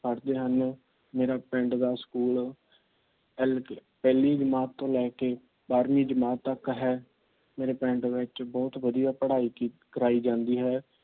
ਪੜਦੇ ਹਨ। ਮੇਰੇ ਪਿੰਡ ਦਾ ਸਕੂਲ ਪਹਿਲੀ ਜਮਾਤ ਤੋਂ ਲੈਕੇ ਬਾਰ੍ਹਵੀਂ ਜਮਾਤ ਤੱਕ ਹੈ। ਮੇਰੇ ਪਿੰਡ ਵਿੱਚ ਬਹੁਤ ਵਧੀਆ ਪੜਾਈ ਕੀਤੀ ਕਰਾਈ ਜਾਂਦੀ ਹੈ।